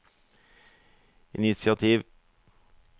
initiativ